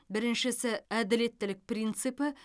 біріншісі әділеттілік принципі